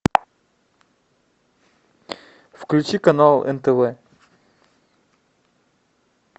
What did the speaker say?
включи канал нтв